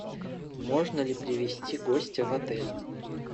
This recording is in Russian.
можно ли привести гостя в отель